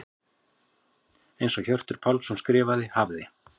Eins og Hjörtur Pálsson skrifar: Hafði.